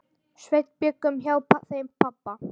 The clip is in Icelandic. Sveinn bjuggum hjá þeim pabba.